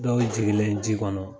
Dɔw jigilen ji kɔnɔ